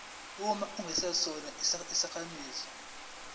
uma ungesona isakhamuzi